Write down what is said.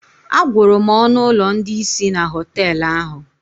Agwụrụ m ọnụ ụlọ ndị isi na họtelu ahụ